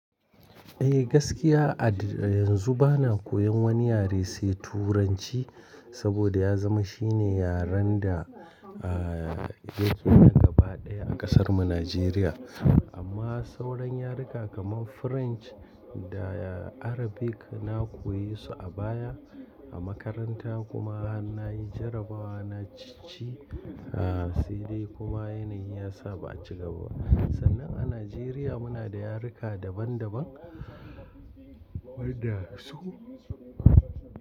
Eh gaskiya, a yanzu bana koyan wani yare sai Turanci saboda ya zama shine yaren da a yake na gaba ɗaya a ƙasarmu Nijeriya. Amma sauran yaruka kamar French da Arabic na koyesu a baya a makaranta kuma har na yi jarabawa na cici a sai dai kuma yanayi ya sa ba a ci gaba. Sannan a Nijeriya muna da yaruka daban daban wadda su.